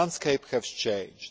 The landscape has changed.